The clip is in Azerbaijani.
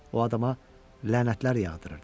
O adama lənətlər yağdırırdım.